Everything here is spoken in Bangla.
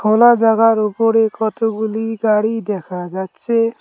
খোলা জাগার ওপরে কতগুলি গাড়ি দেখা যাচ্ছে।